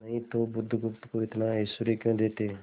नहीं तो बुधगुप्त को इतना ऐश्वर्य क्यों देते